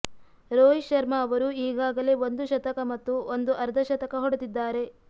ರೋಹಿತ್ ಶರ್ಮಾ ಅವರು ಈಗಾಗಲೇ ಒಂದು ಶತಕ ಮತ್ತು ಒಂದು ಅರ್ಧಶತಕ ಹೊಡೆದಿದ್ದಾರೆ